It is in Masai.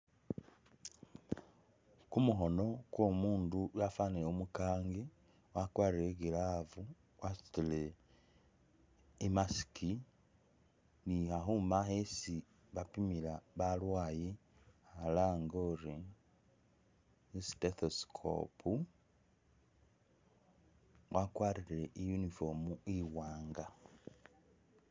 Kumukhono kwo'omuundu wafanile umukangi wakwarile i'glave wasutile i'mask ni khakhuma khesi bapimila balwaye khalange uri i'stethescope wagwarile uniform iwaanga.